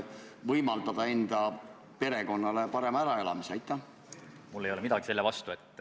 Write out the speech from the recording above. Viie aasta pärast peavad raudtee-ettevõtjad selle direktiivi kõigi pügalate täitmiseks valmis olema.